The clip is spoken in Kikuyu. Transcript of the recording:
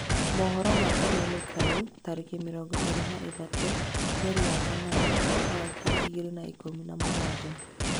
Mohoro ma kameme kayũ, tarĩki mĩrongo ĩrĩ na ithatũ mweri wa kanana mwaka wa ngiri igĩrĩ na ikũmi na mũgwanja